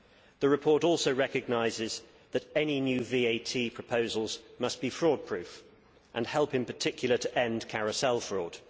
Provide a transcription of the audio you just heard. The report also recognises that any new VAT proposals must be fraud proof and help, in particular, to end carousel fraud.